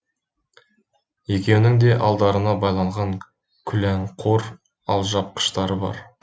екеуінің де алдарына байлаған күләңқор алжапқыштары бар